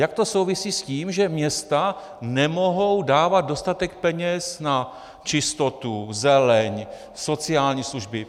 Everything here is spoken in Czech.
Jak to souvisí s tím, že města nemohou dávat dostatek peněz na čistotu, zeleň, sociální služby?